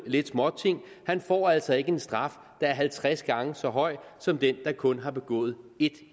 lidt småting får altså ikke en straf der er halvtreds gange så høj som den der kun har begået ét